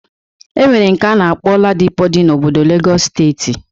E nwere nke a na-akpọ Ladipo dị n'obodo Legọs steeti